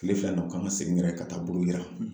Kile fila in na u kan ŋa segin yɛrɛ ka taa buruyiran